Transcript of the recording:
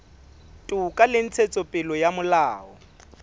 toka le ntshetsopele ya molao